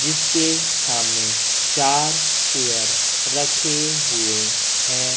जिसके सामने चार चेयर रखे हुए हैं।